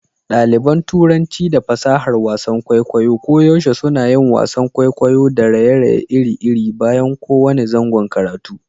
Ɗaliban Turanci da fasahar wasan kwaikwayo koyaushe suna yin wasan kwaikwayo da raye-raye iri-iri bayan kowane zangon karatu.